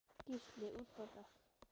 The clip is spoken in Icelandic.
Gísli: Útborgað?